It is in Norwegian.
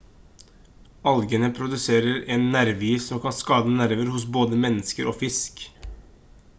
algene produserer en nervegift som kan skade nerver hos både mennesker og fisk